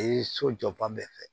E ye so jɔ fan bɛɛ fɛ